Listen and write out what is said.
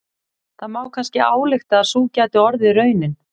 Það má kannski álykta að sú gæti orðið raunin.